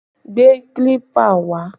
Gbé kílípà wá!